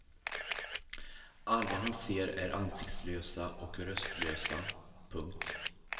Alla han ser är ansiktslösa och röstlösa. punkt